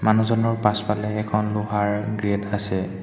মানুহজনৰ পাছফালে এখন লোহাৰ গেট আছে।